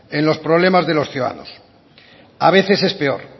en los problemas de los ciudadanos a veces es peor